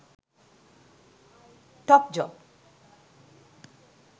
topjob